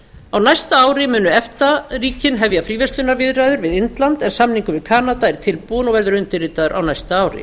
á næsta ári munu efta ríkin hefja fríverslunarviðræður við indland en samningur við kanada er tilbúinn og verður undirritaður á næsta ári